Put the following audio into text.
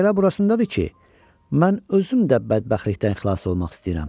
"Məsələ burasındadır ki, mən özüm də bədbəxtlikdən xilas olmaq istəyirəm.